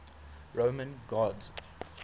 roman gods